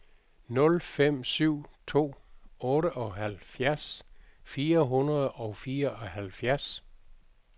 nul fem syv to otteoghalvfjerds fire hundrede og fireoghalvfjerds